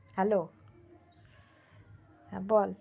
hello হ্যাঁ বল